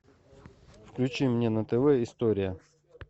включи мне на тв история